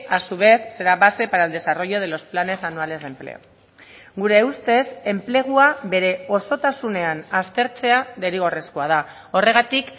a su vez será base para el desarrollo de los planes anuales de empleo gure ustez enplegua bere osotasunean aztertzea derrigorrezkoa da horregatik